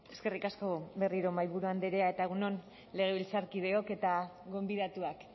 eskerrik asko berriro mahaiburu andrea eta egun on legebiltzarkideok eta gonbidatuak